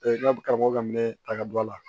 n ka karamɔgɔ ka minɛn ta ka bɔ a la